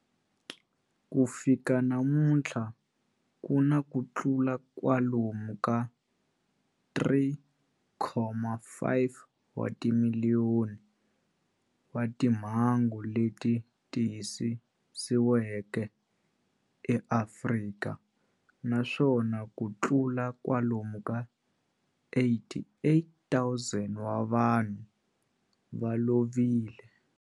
Ku fika namuntlha ku na kutlula kwalomu ka 3.5 wa timiliyoni wa timhangu leti tiyisisiweke eAfrika, naswona kutlula kwalomu ka 88,000 wa vanhu va lovile.